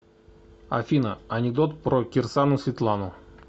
афина анекдот про кирсану светлану